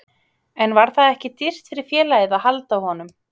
En var það ekki dýrt fyrir félagið að halda honum?